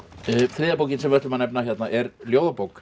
þriðja bókin sem við ætlum að nefna hérna er ljóðabók